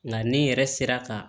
Nka ne yɛrɛ sera ka